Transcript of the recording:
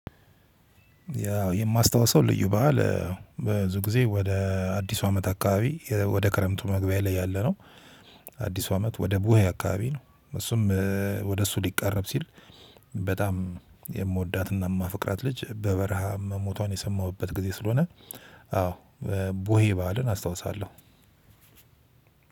ያው የማስታወሰው ልዩ በዓል ብዙ ጊዜ ወደ አዲሱ አመት አካባቢ ወደ ክረምቱ መግቢያ ላይ ያለነው አዲሱ አመት ወደ ቡሄ አከባቢ ነው። እሱም ወደ እሱ ሊቃረብ ሲል በጣም የምወዳትና የማፍቅራት ልጅ በበረሃ መሞቷን የሰማሁበት ጊዜ ስለሆነ አዎ ቡሄ በዓልን አስታውሳለሁ።